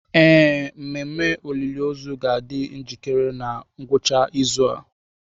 Ee, mmemme olili ozu ga-adị njikere na ngwụcha izu a.